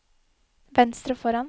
venstre foran